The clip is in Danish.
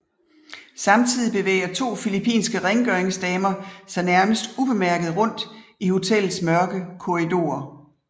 Samtidig bevæger to filippinske rengøringsdamer sig nærmest ubemærket rundt i hotellets mørke korridorer